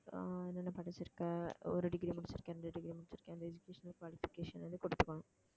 அப்புறம் என்னென்ன படிச்சிருக்க ஒரு degree முடிச்சிருக்கேன் இந்த degree முடிச்சிருக்கேன் இந்த educational qualification வந்து கொடுத்துக்கணும்